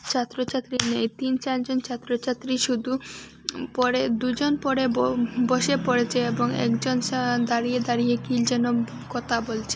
ছাত্র-ছাত্রী নেই তিন চারজন ছাত্র-ছাত্রী শুধু উম পড়ে দু'জন পড়ে ব-বসে পড়েছে এবং একজন স্যার দাঁড়িয়ে দাঁড়িয়ে কী যেন কতা বলচে।